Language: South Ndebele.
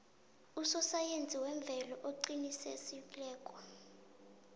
usosayensi wemvelo oqinisekisiweko